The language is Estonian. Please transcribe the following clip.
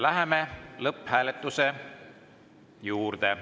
Läheme lõpphääletuse juurde.